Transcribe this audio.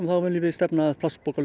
viljum við stefna að